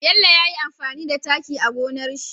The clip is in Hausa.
Bello yayi amfani da taki a gonar shi